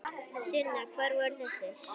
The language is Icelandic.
Sunna: Hvar voru þessir?